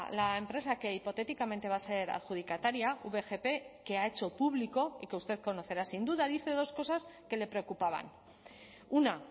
la empresa que hipotéticamente va a ser adjudicataria vgp que ha hecho público y que usted conocerá sin duda dice dos cosas que le preocupaban una